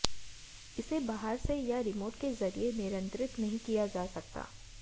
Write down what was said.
इसे बाहर से या रिमोट के जरिए नियंत्रित नहीं किया जा सकता